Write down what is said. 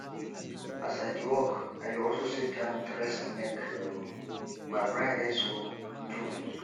as i dey work i dey also set time to rest mek um my brain rest um too